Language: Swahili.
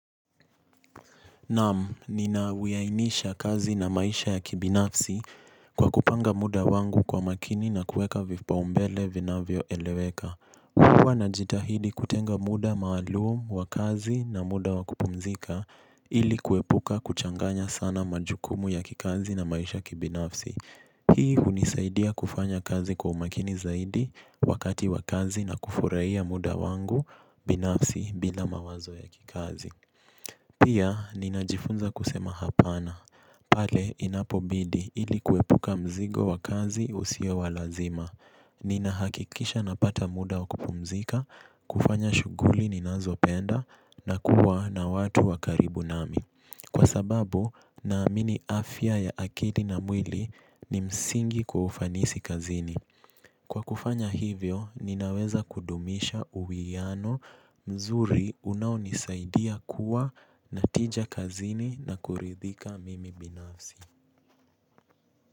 Naam, nina wiainisha kazi na maisha ya kibinafsi kwa kupanga muda wangu kwa makini na kueka vipaumbele vinavyoeleweka. Huwa najitahidi kutenga muda maalum wa kazi na muda wa kupumzika ili kuepuka kuchanganya sana majukumu ya kikazi na maisha kibinafsi. Hii hunisaidia kufanya kazi kwa umakini zaidi wakati wa kazi na kufurahia muda wangu binafsi bila mawazo ya kikazi. Pia, ninajifunza kusema hapana, pale inapobidi ili kuepuka mzigo wa kazi usio wa lazima. Ninahakikisha napata muda wa kupumzika, kufanya shughuli ninazopenda, na kuwa na watu wa karibu nami. Kwa sababu, naamini afya ya akili na mwili ni msingi kwa ufanisi kazini. Kwa kufanya hivyo, ninaweza kudumisha uwiyano mzuri unaonisaidia kuwa na tija kazini na kuridhika mimi binafsi.